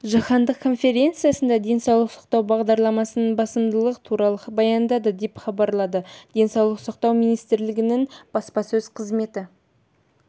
жаһандық конференциясында денсаулық сақтау бағдарламасының басымдықтары туралы баяндады деп хабарлады денсаулық сақтау министрлігінің баспасөз қызметі